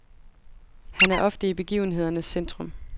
Han er ofte i begivenhedernes centrum.